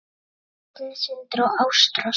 Börn: Signý, Sindri og Ástrós.